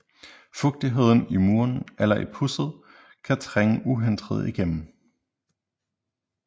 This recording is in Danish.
Fugtigheden i muren eller i pudset kan trænge uhindret igennem